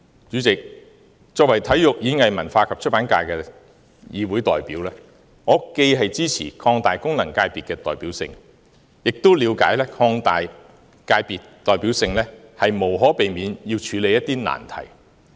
主席，作為體育、演藝、文化及出版界的議會代表，我既支持擴大功能界別的代表性，亦了解擴大界別代表性，無可避免要處理一些難題。